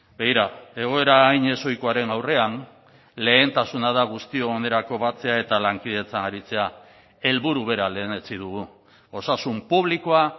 begira egoera hain ezohikoaren aurrean lehentasuna da guztion onerako batzea eta lankidetzan aritzea helburu bera lehenetsi dugu osasun publikoa